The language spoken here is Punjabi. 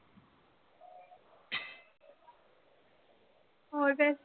ਹੋਰ ਫਿਰ